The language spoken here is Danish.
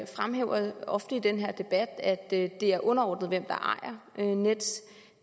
fremhæver ofte i denne debat at det er underordnet hvem der ejer nets